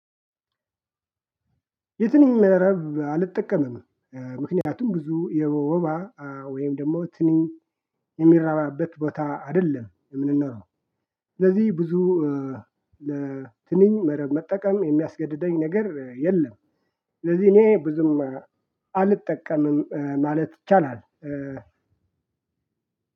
የትንኝ መረብ አልጠቀመም ምክንያቱም ብዙ የወባ ወይም ደግሞ ትንኝ የሚራባበት ቦታ አይደለም የምንኖረው። ስለዚህ ብዙ ለትንኝ መረብ መጠቀም የሚያስገድደኝ ነገር የለም። ስለዚህ እኔ ብዙም አልጠቀምም ማለት ይቻላል።